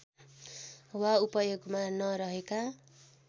वा उपयोगमा नरहेका